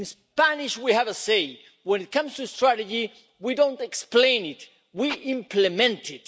In Spanish we have a saying that, when it comes to strategy, we don't explain it, we implement it!